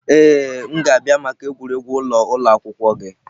Ee, m ga-abịa maka egwuregwu ụlọ ụlọ akwụkwọ gị.